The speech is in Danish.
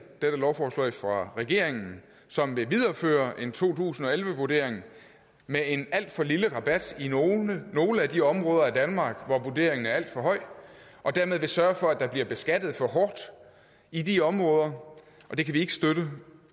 dette lovforslag fra regeringen som vil videreføre en to tusind og elleve vurdering med en alt for lille rabat i nogle nogle af de områder af danmark hvor vurderingen er alt for høj og dermed vil den sørge for at der bliver beskattet for hårdt i de områder det kan vi ikke støtte